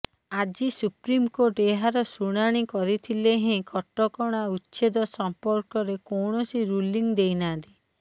ଆଜି ସୁପ୍ରିମକୋର୍ଟ ଏହାର ଶୁଣାଣି କରିଥିଲେ ହେଁ କଟକଣା ଉଚ୍ଛେଦ ସମ୍ପର୍କରେ କୌଣସି ରୁଲିଂ ଦେଇ ନାହାନ୍ତି